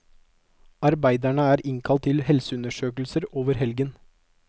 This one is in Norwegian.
Arbeiderne er innkalt til helseundersøkelser over helgen.